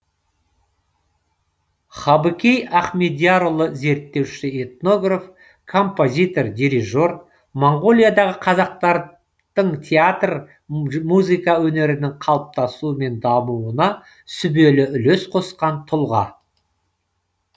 хабыкей ахмедиярұлы зерттеуші этнограф композитор дирижер монғолиядағы қазақтардың театр музыка өнерінің қалыптасуы мен дамуына сүбелі үлес қосқан тұлға